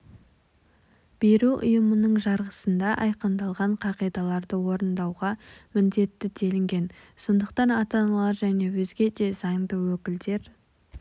беру ұйымының жарғысында айқындалған қағидаларды орындауға міндетті делінген сондықтан ата-аналар және өзге де заңды өкілдер